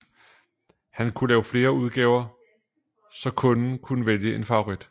Han kunne lave flere udgaver så kunden kunne vælge en favorit